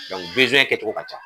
kɛcogo ka can